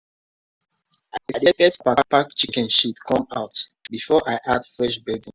i dey first pack pack chicken shit come out before i add fresh bedding.